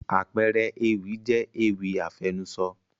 àpẹẹrẹ ewì jẹ́ ewì àfẹnusọ